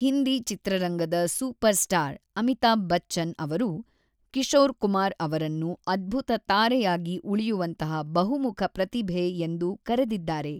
ಹಿಂದಿ ಚಿತ್ರರಂಗದ super star Amitabh Bachchan ಅವರು ಕಿಶೋರ್ ಕುಮಾರ್ ಅವರನ್ನು ಅದ್ಭುತ ತಾರೆಯಾಗಿ ಉಳಿಯುವಂತಹ ಬಹುಮುಖ ಪ್ರತಿಭೆ ಎಂದು ಕರೆದಿದ್ದಾರೆ.